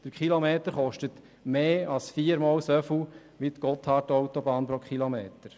Der Kilometer kostet mehr als viermal so viel wie die Gotthardautobahn pro Kilometer.